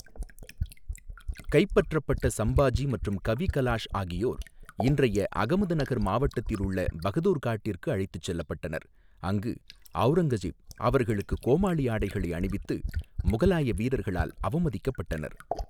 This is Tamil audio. கைப்பற்றப்பட்ட சம்பாஜி மற்றும் கவி கலாஷ் ஆகியோர் இன்றைய அகமதுநகர் மாவட்டத்தில் உள்ள பகதூர்காட்டிற்கு அழைத்துச் செல்லப்பட்டனர், அங்கு அவுரங்கசீப் அவர்களுக்கு கோமாளி ஆடைகளை அணிவித்து, முகலாய வீரர்களால் அவமதிக்கப்பட்டனர்.